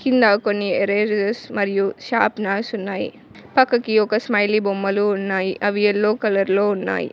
కింద కొన్ని ఎరేజర్స్ మరియు షార్ప్ నర్స్ ఉన్నాయి పక్కకి ఒక స్మైలీ బొమ్మలు ఉన్నాయి అవి ఎల్లో కలర్లో ఉన్నాయి.